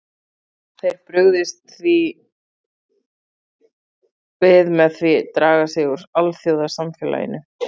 Þeir brugðist því við með því draga sig úr alþjóðasamfélaginu.